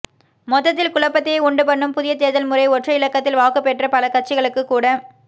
மொத்தத்தில் குழப்பத்தையே உண்டு பண்ணும் புதிய தேர்தல் முறை ஒற்றை இலக்கத்தில் வாக்கு பெற்ற பல கட்சிகளுக்கு கூட